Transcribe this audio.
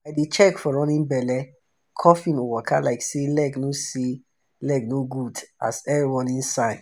i dey check for running belle coughing or waka like say leg no say leg no good as earl warning signs.